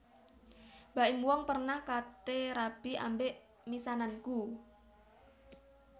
Baim Wong pernah kate rabi ambek misananku